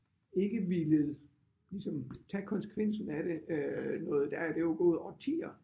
Ikke villet ligesom tage konsekvensen af det øh noget der er der jo gået årtier